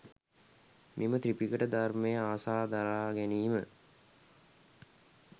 මෙම ත්‍රිපිටක ධර්මය අසා දරා ගැනීම